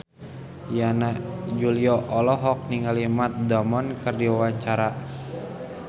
Yana Julio olohok ningali Matt Damon keur diwawancara